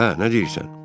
Hə, nə deyirsən?